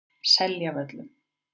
Seljavöllum